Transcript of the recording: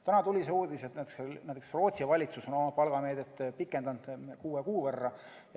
Täna tuli uudis, et Rootsi valitsus on oma palgameedet pikendanud kuue kuu võrra.